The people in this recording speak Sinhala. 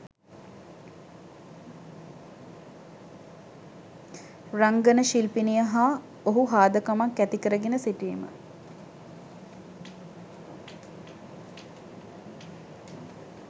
රංගන ශිල්පිනිය හා ඔහු හාදකමක් ඇතිකරගෙන සිටීම